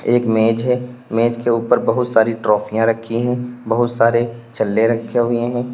एक मेज़ है मेज के ऊपर बहुत सारी ट्राफियां रखी हुई है बहुत सारे छल्ले रखें हुए हैं।